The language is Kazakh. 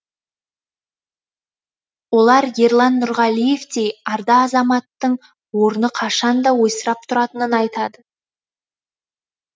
олар ерлан нұрғалиевтей арда азаматтың орны қашан да ойсырап тұратынын айтады